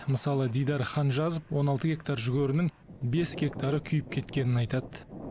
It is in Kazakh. мысалы дидар ханжазов он алты гектар жүгерінің бес гектары күйіп кеткенін айтты